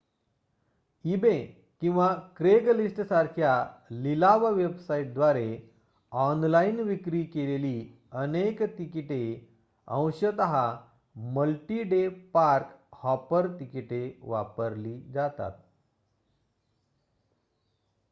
eBay किंवा क्रेगलिस्टसारख्या लिलाव वेबसाईटद्वारे ऑनलाइन विक्री केलेली अनेक तिकिटे अंशत मल्टी-डे पार्क-हॉपर तिकिटे वापरली जातात